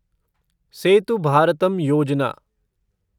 सेतु भारतम योजना